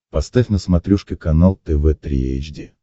поставь на смотрешке канал тв три эйч ди